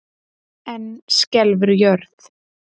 Enn skelfur jörð